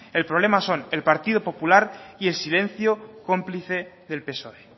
el problema son el partido popular y el silencio cómplice del psoe